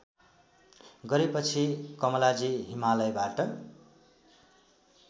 गरेपछि कमलाजी हिमालयबाट